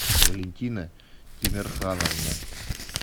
валентина тимерхановна